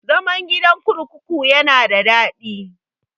Zaman gidan kurkuku yana da daɗi.